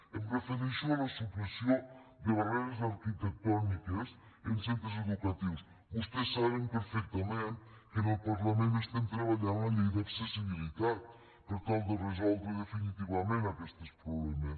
em refereixo a la supressió de barreres arquitectòniques en centres educatius vostès saben perfectament que en el parlament estem treballant la llei d’accessibilitat per tal de resoldre definitivament aquests problemes